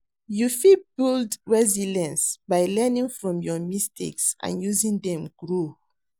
You fit build resilience by learning from your mistakes and using dem grow.